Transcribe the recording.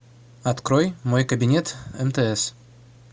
открой мой кабинет мтс